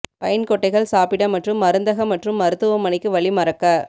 pine கொட்டைகள் சாப்பிட மற்றும் மருந்தகம் மற்றும் மருத்துவமனைக்கு வழி மறக்க